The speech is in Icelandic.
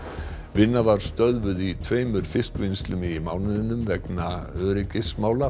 vinna var stöðvuð í tveimur fiskvinnslum í mánuðinum vegna öryggismála